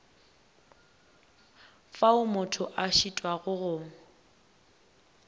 fao motho a šitwago go